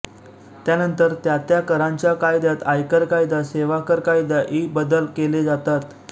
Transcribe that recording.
त्यानंतर त्या त्या करांच्या कायद्यात आयकर कायदा सेवाकर कायदा इ बदल केले जातात